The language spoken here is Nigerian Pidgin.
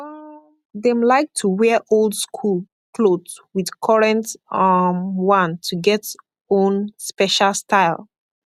um dem laik to dey wear old skool kloth wit korent um one to get own spesha style